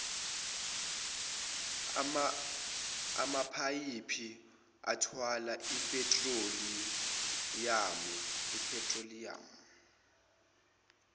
amaphayiphi athwala iphethroliyamu